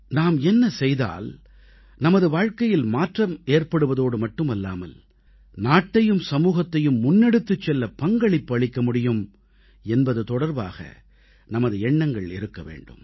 நாம் என்ன செய்தால் நமது வாழ்க்கையில் மாற்றத்தை ஏற்படுவதோடு மட்டுமல்லாமல் நாட்டையும் சமூகத்தையும் முன்னெடுத்துச் செல்ல பங்களிப்பு அளிக்க முடியும் என்பது தொடர்பாக நமது எண்ணங்கள் இருக்க வேண்டும்